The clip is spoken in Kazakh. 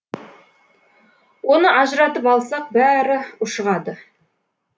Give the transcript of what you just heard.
оны ажыратып алсақ бәрі ушығады